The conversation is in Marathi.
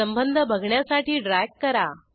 संबंध बघण्यासाठी ड्रॅग करा